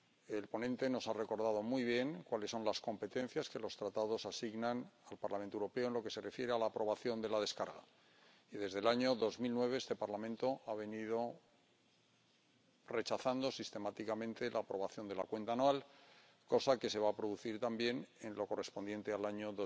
El ponente nos ha recordado muy bien cuáles son las competencias que los Tratados asignan el Parlamento Europeo en lo que se refiere a la aprobación de la gestión, y desde el año 2009 este Parlamento ha venido rechazando sistemáticamente la aprobación de las cuentas anuales, cosa que se va a producir también en lo correspondiente al año